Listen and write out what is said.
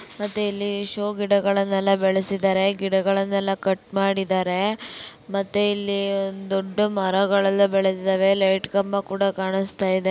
ಮತ್ತೆ ಇಲ್ಲಿ ಶೋ ಗಿಡಗಳನೆಲ್ಲ ಬೆಳಸಿದರೆ. ಗಿಡಗಳನೆಲ್ಲ ಕಟ್ ಮಾಡಿದರೆ ಮತ್ತೆ ಇಲ್ಲಿ ಒಂದು ದೊಡ್ಡ ಮರಗಳೆಲ್ಲ ಬೆಳದಿದಾವೆ ಲೈಟ್ ಕಂಬ ಕೂಡ ಕಾಣಿಸ್ತಾಯಿದೆ .